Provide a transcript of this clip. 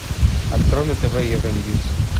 открой на тв евроньюс